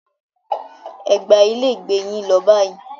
Ẹ gba ilé ìgbé yín lọ báyìí.